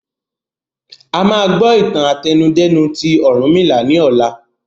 A máa gbọ́ ìtàn àtẹnudẹ́nu ti Orunmila ni ọ̀la